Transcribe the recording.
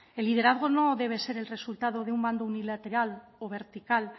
el liderazgo no debe ser el resultado de un mando unilateral o vertical